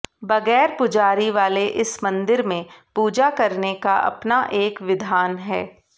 बगैर पुजारी वाले इस मंदिर में पूजा करने का अपना एक विधान है